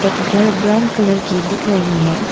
घर brown colour की दिख रही है।